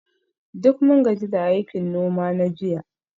Duk mun gaji da aikin noma na jiya